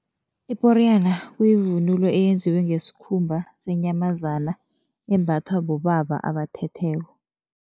Iporiyana kuyivunulo eyenziwe ngesikhumba senyamazana, embathwa bobaba abathetheko.